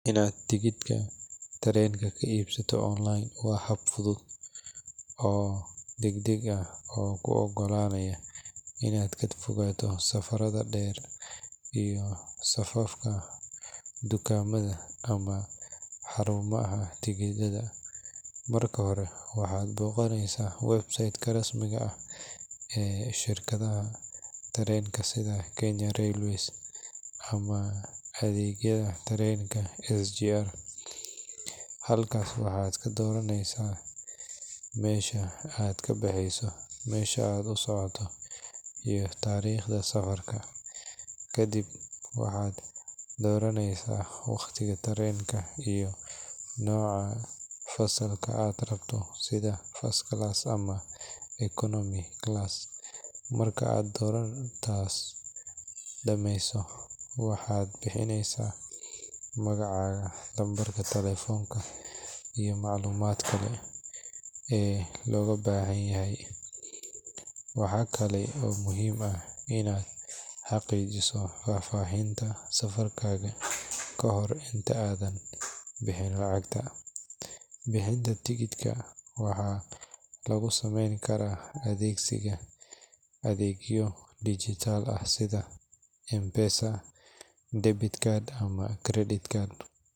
Inaad tareenka iibsato waa hab fudud, Marka hore waxaad boqneysa shirkadaha tareenka, waxaad doraneysa meesha aad kanaxeyso, meesha aad usocoto, waqtiga tareenka, nooca aad rabto, waaxd bixineysa magacaga iyi lacagta, waxaa lagu sameeyn karaa adeegyo casri ah.